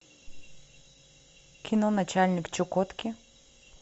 кино начальник чукотки